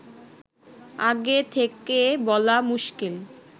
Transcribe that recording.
আগে থেকে বলা মুশকিল